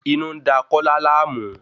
Inú ń da Kọla láàmú.